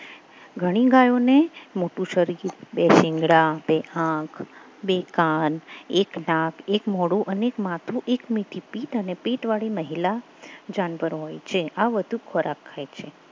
ઘણી ગાયોને મોટું શરીર બે શીંગડા બે આંખ બે કાન એક નાક એક મોઢું અને એક માથું અને એક મીઠી પીઠ અને પીઠ વાડી મહિલા જાનવર હોય છે આ વધુ ખોરાક ખાય છે